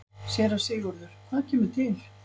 SÉRA SIGURÐUR: Hvað kemur til?